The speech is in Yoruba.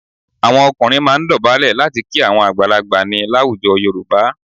Àwọn ọkùnrin máa ń dọ̀bálẹ̀ láti kí àwọn àgbàlagbà ni láwùjọ Yorùbá.